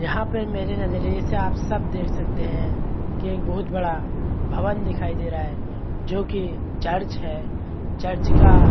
यहाँ पर मेरे नजरिये से आप सब देख सकते है की एक बहुत बड़ा भवन दिखाई दे रहा है जो की चर्च है चर्च का --